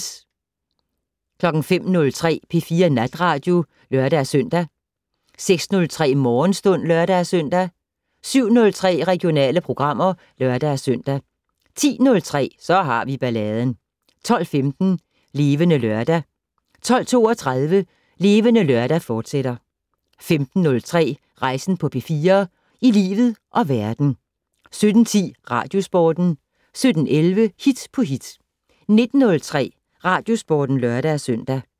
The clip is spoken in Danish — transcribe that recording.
05:03: P4 Natradio (lør-søn) 06:03: Morgenstund (lør-søn) 07:03: Regionale programmer (lør-søn) 10:03: Så har vi balladen 12:15: Levende Lørdag 12:32: Levende Lørdag, fortsat 15:03: Rejsen på P4 - i livet og verden 17:10: Radiosporten 17:11: Hit på hit 19:03: Radiosporten (lør-søn)